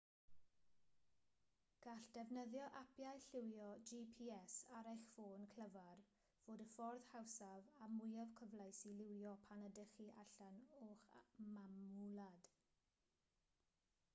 gall defnyddio apiau llywio gps ar eich ffôn clyfar fod y ffordd hawsaf a mwyaf cyfleus i lywio pan ydych chi allan o'ch mamwlad